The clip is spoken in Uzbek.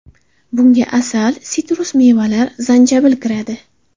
Bunga asal, sitrus mevalar, zanjabil kiradi.